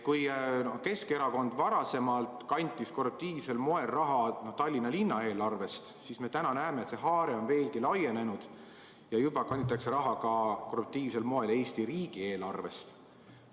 Kui Keskerakond varem kantis korruptiivsel moel raha Tallinna linna eelarvest, siis täna näeme, et see haare on veelgi laienenud ja juba kanditakse raha korruptiivsel moel Eesti riigi eelarvest.